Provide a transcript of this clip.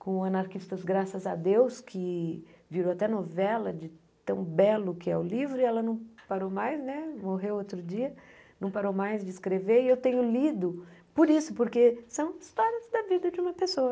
com o Anarquistas Graças a Deus, que virou até novela de tão belo que é o livro, e ela não parou mais né, morreu outro dia, não parou mais de escrever, e eu tenho lido por isso, porque são histórias da vida de uma pessoa.